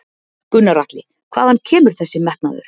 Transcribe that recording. Gunnar Atli: Hvaðan kemur þessi metnaður?